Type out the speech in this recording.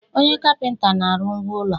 Onye kapịnta na-arụ ngwá ụlọ.